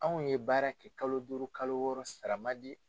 Anw ye baara kɛ kalo duuru kalo wɔɔrɔ sara ma di.